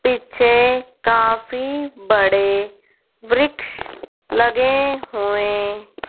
पिछे काफी बड़े वृक्ष लगे हुए--